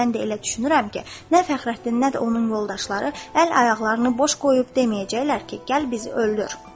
Mən də elə düşünürəm ki, nə Fəxrəddin nə də onun yoldaşları əl ayaqlarını boş qoyub deməyəcəklər ki, gəl bizi öldür.